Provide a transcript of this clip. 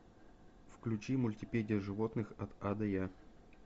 включи мультипедия животных от а до я